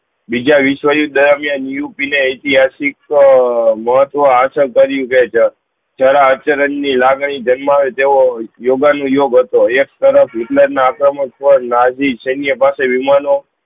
બીજા વિસ્વ યુદ્ધ દરમિયાન ઉપીન એતિહાસિક આ મહત્વ આસ્છ્ત કરીતે આ જરા આચરણ ની લાગણી જન્માવે તેવો યોગન નું યોગ્ય હતો એક તરફ નાજી જેની પાસે વિમાનો